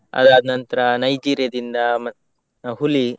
ಅದಾದ್ನಂತ್ರ Nigeria ದಿಂದ ಮ~ ಹುಲಿ.